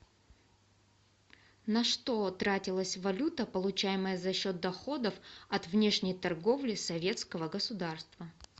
на что тратилась валюта получаемая за счет доходов от внешней торговли советского государства